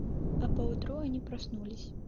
а по утру они проснулись